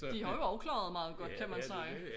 De har jo også klaret meget godt kan man sige